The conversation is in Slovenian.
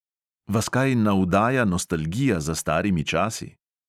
Vas kaj navdaja nostalgija za starimi časi?